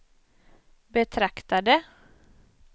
betraktade